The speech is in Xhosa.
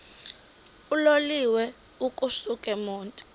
uloliwe ukusuk emontini